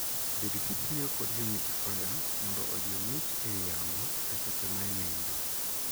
Bed kitiyo kod 'humidifier' mondo ojiw ngich ei yamo e seche ma inindo.